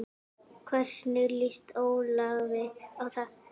Hvernig lýst Ólafi á það?